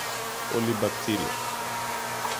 Coli bacteria